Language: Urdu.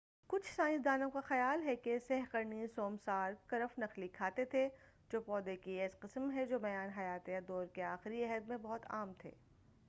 کچھ سائنسدانوں کا خیال ہے کہ سہ قرنی سوسمار کرف نخلی کھاتے تھے جو پودے کی ایسی قسم ہیں جو میان حیاتیہ دور کے آخری عہد میں بہت عام تھے